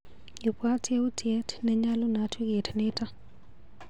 Ibwaat yautyet nenyalunot wikit nito.